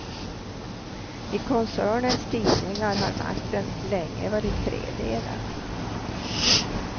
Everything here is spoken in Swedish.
I koncernens tidningar har makten länge varit tredelad.